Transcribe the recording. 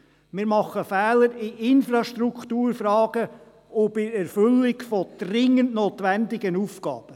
Wir machen Fehler in Infrastrukturfragen und bei der Erfüllung von dringend notwendigen Aufgaben.